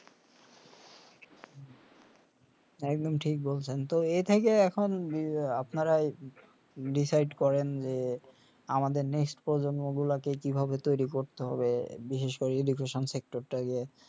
একদম ঠিক বলসেন তো এ থেকে এখন আপনারাই করেন যে আমাদের প্রজন্মগুলাকে কিভাবে তৈরি করতে হবে বিশেষ করে টা কে